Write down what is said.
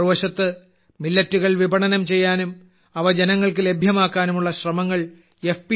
മറുവശത്ത് മില്ലറ്റുകൾ വിപണനം ചെയ്യാനും അവ ജനങ്ങൾക്ക് ലഭ്യമാക്കാനുമുള്ള ശ്രമങ്ങൾ എഫ്